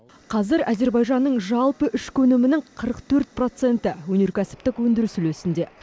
қазір әзербайжанның жалпы ішкі өнімінің қырық төрт проценті өнеркәсіптік өндіріс үлесінде